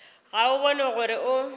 ga o bone gore o